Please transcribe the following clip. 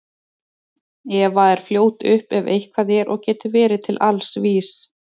Eva er fljót upp ef eitthvað er og getur verið til alls vís.